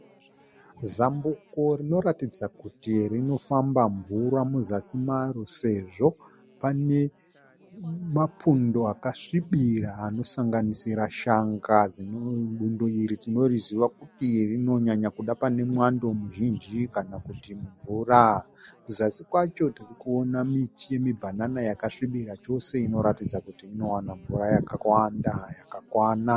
Zambuko rinoratidza kuti rinofamba mvura muzasi maro sezvo pane mapundo akasvibira anosanganisira shanga. Bundo iri tinoriziva kuti rinonyanya kuda pane mwando muzhinji kana kuti mvura. Kuzasi kwacho tikuona miti yemubhanana yakasvibirira chose inoratidza kuti inowana mvura yakawanda yakakwana.